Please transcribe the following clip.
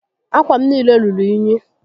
Ákwà m niile ruru únyí